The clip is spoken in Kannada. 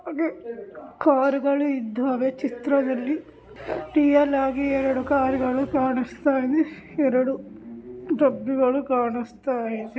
ಕಾರುಗಳು ಇದ್ದವೆ ಚಿತ್ರದಲ್ಲಿ ರಿಯಲ್ ಹಾಗಿ ಎರೆಡು ಕಾರುಗಳು ಕಾಣುಸ್ತ ಇವೆ ಎರೆಡು ಡಬ್ಬಿಗಳು ಕಾಣುಸ್ತ ಇವೆ--